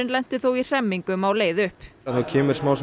lenti þó í hremmingum á leið upp það kemur